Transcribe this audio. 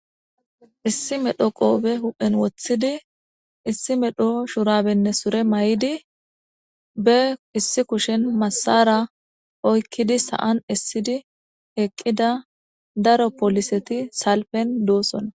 issi medho qoobe huphen woththidi issi medho shurabenne sure may7idi be issi kushen massara oykkidi sa7an essidi eqqida daro poliseti salpen doossona